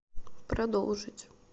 продолжить